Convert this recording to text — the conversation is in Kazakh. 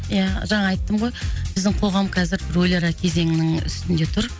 ия жаңа айттым ғой біздің қоғам қазір өліара кезеңінің үстінде тұр